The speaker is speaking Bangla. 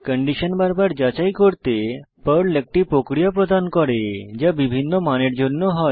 কন্ডিশন বারবার যাচাই করতে পর্ল একটি প্রক্রিয়া প্রদান করে যা বিভিন্ন মানের জন্য হয়